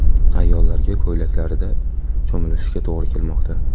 Ayollarga ko‘ylaklarida cho‘milishiga to‘g‘ri kelmoqda.